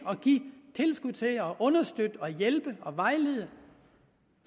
at give tilskud til og man understøtte hjælpe og vejlede